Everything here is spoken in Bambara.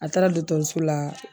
A taara dɔtɔrɔso la.